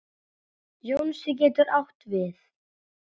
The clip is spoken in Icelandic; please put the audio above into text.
Jónsi getur átt við